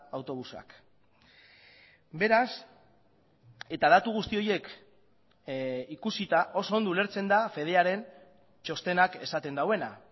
autobusak beraz eta datu guzti horiek ikusita oso ondo ulertzen da fedearen txostenak esaten duena